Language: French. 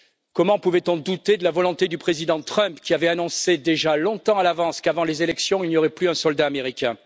Comment pouvait on douter de la volonté du président Trump, qui avait annoncé déjà longtemps à l'avance qu'avant les élections, il n'y aurait plus un soldat américain?